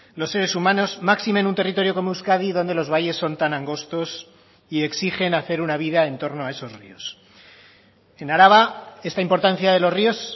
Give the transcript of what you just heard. los seres humanos máxime en un territorio como euskadi donde los valles son tan angostos y exigen hacer una vida en torno a esos ríos en araba esta importancia de los ríos